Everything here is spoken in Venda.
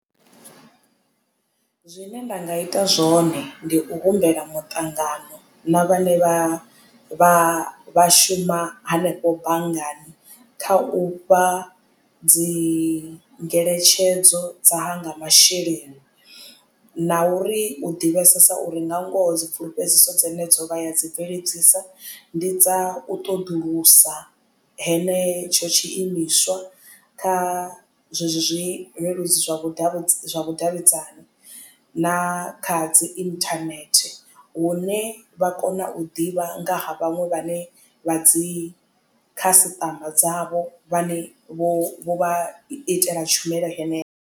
Zwine nda nga ita zwone ndi u humbela muṱangano na vhane vha vha vha shuma hanefho banngani kha u fha dzi ngeletshedzo dza hanga masheleni. Na uri u ḓivhesesa uri nga ngoho dzi pfulufhedziso dzine dzo vha ya dzi bveledzisa ndi dza u ṱoḓulusa henetsho tshiimiswa kha zwezwo zwileludzi zwa vhudavhidzani na kha dzi internet hune vha kona u ḓivha nga ha vhaṅwe vhane vha dzi khasiṱama dzavho vha ne vho vha itela tshumelo heneyo.